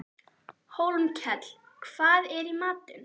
Hólmkell, hvað er í matinn?